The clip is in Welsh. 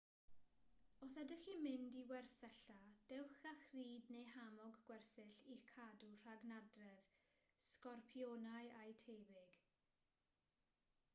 os ydych chi'n mynd i wersylla dewch â chrud neu hamog gwersyll i'ch cadw rhag nadredd sgorpionau a'u tebyg